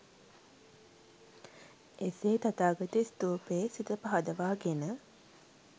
එසේ තථාගත ස්ථූපයේ සිත පහදවා ගෙන